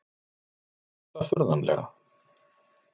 Þó tókst það furðanlega.